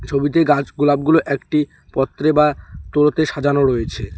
ছবিতে গাছ গোলাপগুলো একটি পত্রে বা তোড়োতে সাজানো রয়েছে।